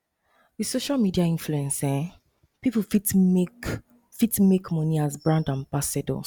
with social media influence um pipo fit make fit make money as brand ambassadors